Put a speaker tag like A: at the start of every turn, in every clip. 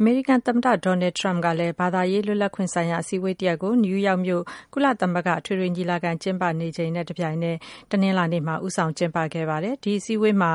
A: အမေရိကန် သမ္မတ ဒေါ်နယ်ထရမ့်က ဘာသာရေး လွတ်လပ်ခွင့်ဆိုင်ရာအစည်းအဝေးတစ်ရပ်ကို နယူးယောက်မြို့ ကုလသမဂ္ဂ အထွေထွေ ညီလာခံ ကျင်းပနေစဉ်အတွင်း တနင်္လာနေ့မှာ ဦးဆောင်ကျင်းပခဲ့ပါတယ်။ အဲဒီအစည်းအဝေးမှာ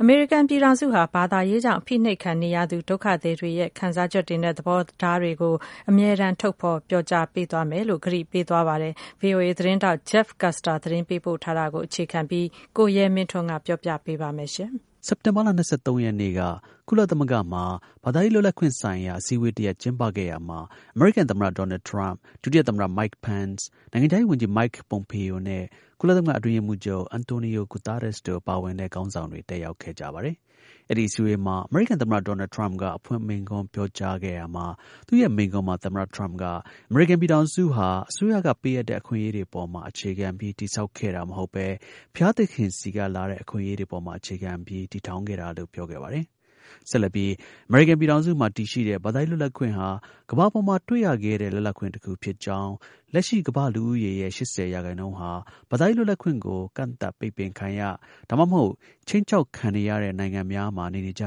A: အမေရိကန်ပြည်ထောင်စုဟာ ဘာသာရေးကြောင့် အဖိနှိပ်ခံနေရသူ ဒုက္ခသည်တွေရဲ့ ခံစားချက်တွေနဲ့ သဘောထားတွေကို အမြဲတမ်း ထုတ်ဖော်ပြောကြားပေးသွားမယ်လို့ သူက ကတိပေးခဲ့ပါတယ်။ ဗွီအိုအေ သတင်းထောက် Jeff Custer သတင်းပေးပို့ထားတာကို အခြေခံပြီး ကိုရဲမင်းထွန်းက တင်ပြပေးပါမယ်။
B: စက်တင်ဘာလ ၂၃ ရက်နေ့က ကုလသမဂ္ဂမှာ ဘာသာရေး လွတ်လပ်ခွင့်ဆိုင်ရာ အစည်းအဝေး တစ်ရပ် ကျင်းပခဲ့ရာမှာ အမေရိကန် သမ္မတ ဒေါ်နယ်ထရမ့်၊ ဒုတိယ သမ္မတ Mike Pence ၊ နိုင်ငံခြားရေး ဝန်ကြီး Mike Pompeo နဲ့ ကုလသမဂ္ဂ အတွင်းရေးမှူးချုပ် Antonio Guterres တို့ ပါဝင်တဲ့ ခေါင်းဆောင်တွေ တက်ရောက်ခဲ့ပါတယ်။ အဲဒီ အစည်းအဝေးမှာ အမေရိကန်သမ္မတ ဒေါ်နယ်ထရမ့်က အဖွင့် မိန့်ခွန်းပြောကြား ခဲ့ရာမှာ အမေရိကန်ပြည်ထောင်စု ဟာ အစိုးရကပေးအပ်တဲ့ အခွင့်အရေးတွေပေါ်မှာ အခြေခံပြီး တည်ဆောက်ခဲ့တာ မဟုတ်ဘဲ ဘုရားသခင်ဆီကလာတဲ့ အခွင့်အရေးတွေ အပေါ်မှာ အခြေခံပြီး တည်ထောင်ခဲ့တာလို့ ပြောခဲ့ပါတယ်။ ဆက်လက်ပြီး အမေရိကန်ပြည်ထောင်စုမှာ တည်ရှိတဲ့ ဘာသာရေး လွတ်လပ်ခွင့်ဟာ ကမ္ဘာပေါ်မှာ တွေ့ရခဲတဲ့ လွတ်လပ်ခွင့် တစ်ခု ဖြစ်ကြောင်း၊ လက်ရှိ ကမ္ဘာ့ လူဦးရေရဲ့ ၈၀ ရာခိုင်နှုန်းဟာ ဘာသာရေး လွတ်လပ်ခွင့်ကို ကန့်သတ်၊ ပိတ်ပင်ခံရ ဒါမှမဟုတ် ခြိမ်းခြောက်ခံ နေရတဲ့ နိုင်ငံများ မှာ နေနေရကြ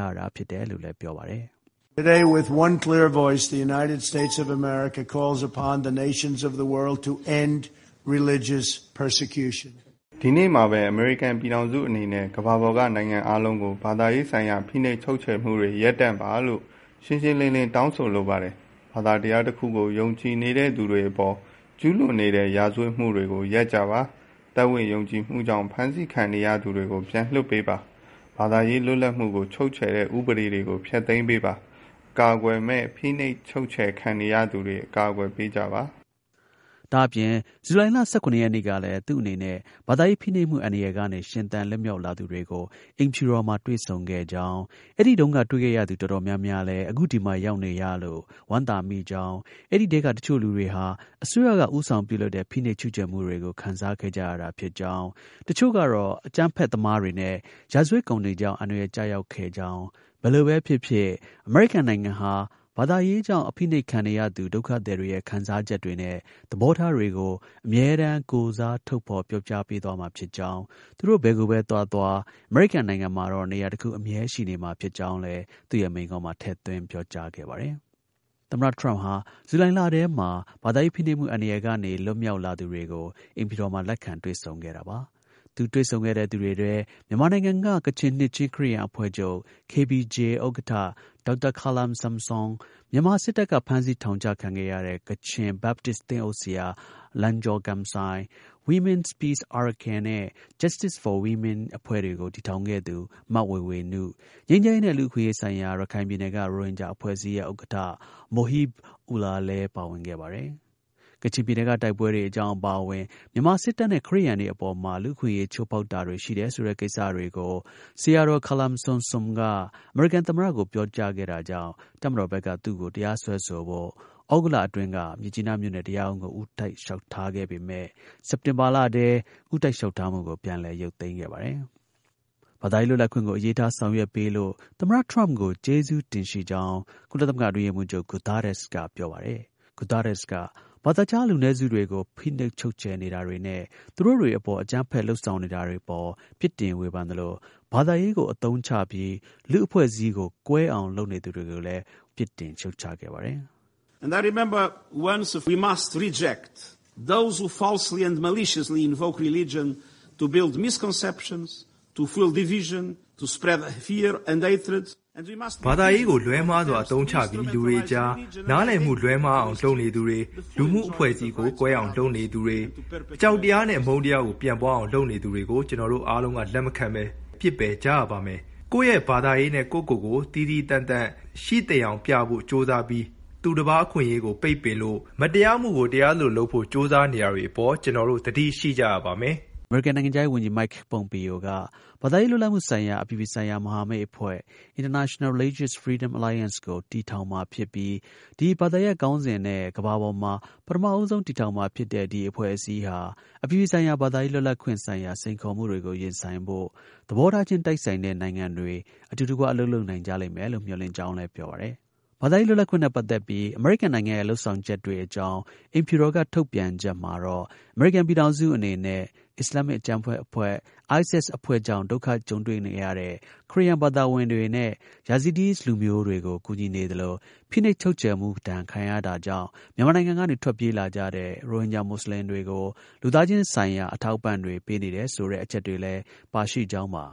B: တယ်လို့ ပြောပါတယ်။
A: “ဒီနေ့မှာပဲ အမေရိကန် ပြည်ထောင်စုအနေနဲ့ ကမ္ဘာပေါ်က နိုင်ငံအားလုံးကို ဘာသာရေးဆိုင်ရာ ဖိနှိပ် ချုပ်ချယ်မှုတွေ ရပ်တန့်ပါလို့ ရှှုင်းရှင်း လင်းလင်း တောင်းဆိုလိုပါတယ်။ ဘာသာတရားတစ်ခုကို ယုံကြည်နေတဲ့သူတွေအပေါ် ကျူးလွန်နေတဲ့ ရာဇဝတ်မှုတွေကို ရပ်ကြပါ။ ယုံကြည်မှုကြောင့် ဖမ်းဆီးခံရနေသူတွေကို ပြန်လွှတ်ပေးပါ။ ဘာသာရေး လွတ်လပ်မှုကို ချုပ်ချယ်တဲ့ ဥပဒေတွေကို ဖျက်သိမ်းပေးပါ။ အကာအကွယ်မဲ့ ဖိနှိုပ်ချုပ်ချယ်ခံနေရသူတွေကို အကာအကွယ်ပေးကြပါ။”
B: ဒါ့အပြင် ဇူလိုင်လ ၁၇ ရက်နေ့ကလည်း သူ့အနေနဲ့ ဘာသာရေး ဖိနှိပ်မှုအန္တရာယ်ကနေ ရှင်သန်လွတ်မြောက်လာသူတွေကို အိမ်ဖြူတော်မှာ တွေ့ဆုံခဲ့ကြောင်း၊ အဲဒီတုန်းက တွေ့ခဲ့ရသူ တော်တော်များများလည်း အခု ဒီမှာရောက်ရှိနေလို့ ဝမ်းသာမိကြောင်း၊ အဲဒီထဲက တစ်ချို့ လူတွေဟာ အစိုးရက ဦးဆောင်ပြုလုပ်တဲ့ ဖိနှိပ် ချုပ်ချယ်မှုတွေကို ခံစားခဲ့ကြရတာဖြစ်ကြောင်း၊ တစ်ချို့ကတော့ အကြမ်းဖက်သမားတွေနဲ့ ရာဇဝတ်ကောင်တွေကြောင့် အန္တရာယ်ကျရောက် ခဲ့ကြောင်း၊ ဘယ်လိုပဲ ဖြစ်ဖြစ် အမေရိကန်နိုင်ငံဟာ ဘာသာရေးကြောင့် အဖိနှိပ်ခံနေရသူ ဒုက္ခသည်တွေရဲ့ ခံစားချက်တွေနဲ့ သဘောထား တွေကို အမြဲတမ်း ထုတ်ဖော်ပြောကြားပေးသွားမှာဖြစ်ကြောင်း၊ သူတို့ ဘယ်ကိုပဲ သွားသွား အမေရိကန်နိုင်ငံမှာတာ့ နေရာတစ်ခု အမြဲရှိနေမှာဖြစ်ကြောင်းလည်း သူ့ရဲ့ မိန့်ခွန်းမှာ ထည့်သွင်း ပြောသွားခဲ့ပါတယ်။ သမ္မတ ထရမ့်က ဇူလိုင်လထဲမှာ ဘာသာရေး ဖိနှိပ်မှုအန္တရာယ်ကနေ လွတ်မြောက်လာသူတွေကို အိမ်ဖြူတော်မှာ လက်ခံ တွေ့ဆုံ တာပါ။သူတွေ့ဆုံတဲ့ သူတွေထဲ မြန်မာနိုင်ငံက ကချင်နှစ်ခြင်း ခရစ်ယာန်အဖွဲ့ချုပ် KBC ဥက္ကဋ္ဌ ဒေါက်တာခါလမ်ဆမ်ဆွန်၊ မြန်မာစစ်တပ်က ဖမ်းဆီး ထောင်ချခဲ့တဲ့ ကချင် Baptist သင်းအုပ်ဆရာ လန်ဂျော်ဂမ်ဆိုင်၊ Women’s Peace Arakan နဲ့ Justice for Women အဖွဲ့တွေကို တည်ထောင်ခဲ့သူ မဝေေ၀နု၊ ငြိမ်းချမ်းရေးနဲ့ လူ့အခွင့်အရေးဆိုင်ရာ ရခိုင်ပြည်နယ်က ရိုဟင်ဂျာအဖွဲ့အစည်းရဲ့ ဥက္ကဌ Mohib Ullah လည်း ပါဝင်ခဲ့ပါတယ်။ ကချင်ပြည်နယ်ကတိုက်ပွဲတွေအကြောင်း အပါအဝင် မြန်မာစစ်တပ်အနေနဲ့ ခရစ်ယာန်တွေအပေါ်မှာ လူ့အခွင့်အရေး ချိုးဖောက်တာတွေ ရှိနေတယ်ဆိုတဲ့ ကိစ္စတွေကို ဆရာတော် ခါလမ်ဆမ်ဆွန်က အမေရိကန်သမ္မတကို ပြောကြားခဲ့တာကြောင့် တပ်မတော်ဘက်က သူ့ကို တရားစွဲဆိုဖို့ သြဂုတ်လအတွင်းက မြစ်ကြီးနား မြို့နယ်တရားရုံးကို ဦးတိုက် လျှောက်ထားခဲ့ပေမဲ့ စက်တင်ဘာလထဲ ဦးတိုက်လျှောက်ထားမှုကို ပြန်လည် ရုပ်သိမ်းခဲ့ပါတယ်။ ဘာသာရေး လွတ်လပ်ခွင့်ကို အလေးထား ဆောင်ရွက်ပေးလို့ သမ္မတ ထရမ့်ကို ကျေးဇူးတင်ရှိ ကြောင်း ကုလသမဂ္ဂ အတွင်းရေးမှူးချုပ် Guterres က ပြောပါတယ်။ Guterres က ဘာသာခြား လူနည်းစုတွေကို ဖိနှိပ်ချုပ်ချယ်နေတာတွေနဲ့ သူတို့တစ်တွေ အပေါ် အကြမ်းဖက် လုပ်ဆောင်တာတွေ အပေါ် ပြစ်တင် ဝေဖန်သလို ဘာသာရေးကို အသုံးချပြီး လူ့အဖွဲ့အစည်းကို ကွဲအောင် လုပ်နေသူတွေကိုလည်း ပြစ်တင်ခဲ့ ပါတယ်။ “ဘာသာရေးကို
A: လွဲမှားစွာ အသုံးချပြီး လူတွေအကြား နားလည်မှု လွဲမှားအောင်လုပ်နေသူတွေ၊ လူမှုအဖွဲ့အစည်းကို ကွဲအောင် လုပ်နေသူတွေ၊ အကြောက်တရားနဲ့ အမုန်းတရားကို ပြန့်ပွားအောင် လုပ်နေသူတွေကို ကျွန်တော်တို့အားလုံးက လက်မခံဘဲ ပစ်ပယ်ကြရပါမယ်။ ကိုယ့်ရဲ့ ဘာသာရေးနဲ့ ကိုယ့်ကိုယ်ကို သီးသီးသန့်သန့် ရှိသယောင် ပြဖို့ ကြိုးစားပြီး သူတစ်ပါး အခွင့်အရေးတွေကို ပိတ်ပင်လို့ မတရားမှုကို တရား သလို လုပ်ဖို့ ကြိုးစားနေတာတွေအပေါ် ကျွန်တော်တို့ သတိရှိကြရပါမယ်။”
B: အမေရိကန်နိုင်ငံခြားရေး ဝန်ကြီး Mike Pompeo က ဘာသာရေးလွတ်လပ်မှုဆိုင်ရာ အပြည်ပြည်ဆိုင်ရာ မဟာမိတ်အဖွဲ့ International Religious Freedom Alliance အဖွဲ့ကို တည်ထောင်မှာဖြစ်ပြီး ဒီ ဘာသာရပ်ခေါင်းစဉ်နဲ့ ကမ္ဘာပေါ်မှာ ပထမဦးဆုံး တည်ထောင်မှာဖြစ်တဲ့ အဖွဲ့အစည်းဟာ အပြည်ပြည်ဆိုင်ရာ ဘာသာရေး လွတ်လပ်ခွင့်ဆိုင်ရာ စိန်ခေါ်မှုတွေကို ရင်ဆိုင်ဖို့ သဘောထားချင်း တိုက်ဆိုင်တဲ့နိုင်ငံတွေ အတူတကွ အလုပ်လုပ် နိုင်ကြလိမ့်မယ်လို့ မျှော်လင့်ကြောင်း လည်း ပြောပါတယ်။ ဘာသာရေးလွတ်လပ်ခွင့်နဲ့ ပတ်သက်ပြီး အမေရိကန်နိုင်ငံရဲ့ လုပ်ဆောင်ချက်တွေအကြောင်း အိမ်ဖြူတော်က ထုတ်ပြန်ချက် မှာတော့ အမေရိကန် ပြည်ထောင်စုအနေနဲ့ ISIS အဖွဲ့ကြောင့် ဒုက္ခ ကြုံတွေ့ခဲ့ရတဲ့ ခရစ်ယာန်ဘာသာဝင်တွေနဲ့ Yazidis လူမျိုးတွေကို ကူညီနေသလို ဖိနှိပ်ချုပ်ချယ်ခံရမှုဒဏ်ကြောင့် မြန်မာနို်င်ငံကနေ ထွက်ပြေးကြရတဲ့ ရိုဟင်ဂျာ မူဆလင်တွေကို လူသားချင်းဆိုင်ရာ အထောက်အပံ့တွေ ပေးနေတယ်ဆိုတဲ့ အချက်တွေလည်း ပါရှိခဲ့ကြောင်းပါ